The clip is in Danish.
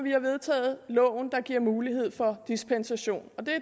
vi har vedtaget loven der giver mulighed for dispensation og det